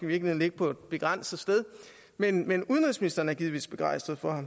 ligge på et begrænset sted men men udenrigsministeren er givetvis begejstret for